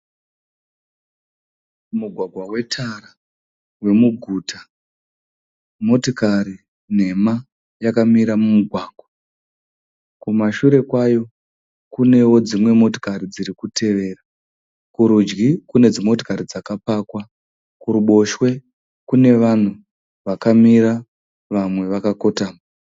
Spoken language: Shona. Mugwagwa wetara wemuguta. Motakari nhema iri yakamira mumugwagwa. Kumashure kwayo kunewo dzimwe motokari dzirikutevera. Kurudyi kune dzimotokari dzakapakwa. Kurubotshwe kune vanhu vakamira vamwe vakakotama.